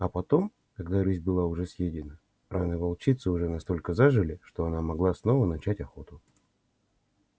а потом когда рысь была уже съедена раны волчицы уже настолько зажили что она могла снова начать охоту